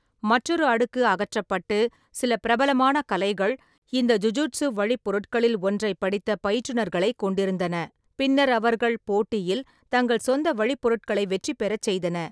மற்றொரு அடுக்கு அகற்றப்பட்டு, சில பிரபலமான கலைகள் இந்த ஜுஜுட்சு வழிப்பொருட்களில் ஒன்றைப் படித்த பயிற்றுநர்களைக் கொண்டிருந்தன, பின்னர் அவர்கள் போட்டியில் தங்கள் சொந்த வழிப்பொருட்களை வெற்றிபெறச் செய்தன.